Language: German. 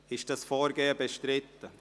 Ist dieses Vorgehen bestritten?